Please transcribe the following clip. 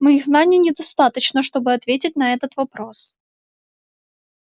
моих знаний недостаточно чтобы ответить на этот вопрос